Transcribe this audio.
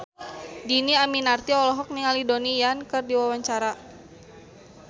Dhini Aminarti olohok ningali Donnie Yan keur diwawancara